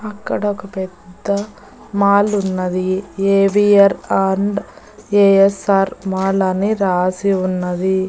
అక్కడ ఒక పెద్ద మాల్ ఉన్నది ఏ_వి_ఆర్ అండ్ ఏ_ఎస్_ఆర్ మాల్ అని రాసి ఉన్నది.